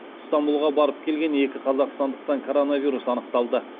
ыстанбұлға барып келген екі қазақстандықтан коронавирус анықталды